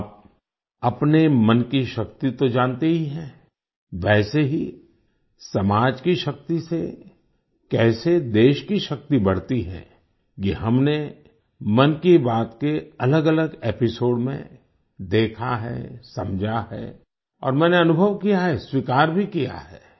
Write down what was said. आप अपने मन की शक्ति तो जानते ही हैं वैसे ही समाज की शक्ति से कैसे देश की शक्ति बढ़ती है ये हमने मन की बात के अलगअलग एपिसोड्स में देखा है समझा है और मैंने अनुभव किया है स्वीकार भी किया है